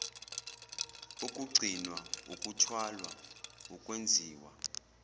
ukugcinwa ukuthwalwa ukwenziwa